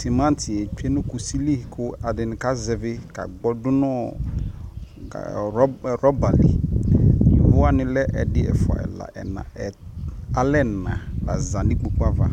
tʋmantiɛ twɛnʋ kʋsi li kʋ ɛdini ka zɛvi ka gbɔ dʋnʋɔ rubber li, yɔvɔ wani lɛ ɛdi, ɛƒʋa, ɛla, alɛ ɛna la zanʋ ikpɔkʋ aɣa